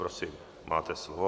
Prosím, máte slovo.